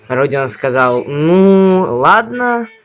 родион сказал ну ладно